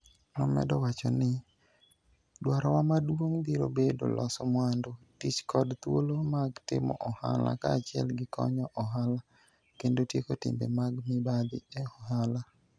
Nomedo wacho ni, "Dwarowa maduong' biro bedo loso mwandu, tich kod thuolo mag timo ohala kaachiel gi konyo ohala kendo tieko timbe mag mibadhi e ohala.